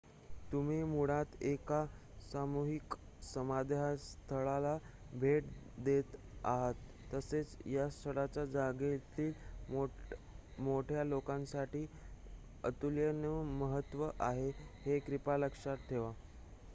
तुम्ही मुळात एका सामूहिक समाधीस्थळाला भेट देत आहात तसेच या स्थळाचे जगातील मोठ्या लोकसंख्येसाठी अतुलनिय महत्त्व आहे हे कृपया लक्षात ठेवा